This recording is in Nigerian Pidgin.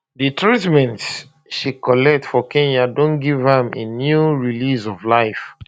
di treatment she collect for kenya don give am a new lease of life